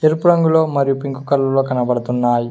ఎరుపు రంగులో మరియు పింక్ కలర్ లో కనబడుతున్నాయి.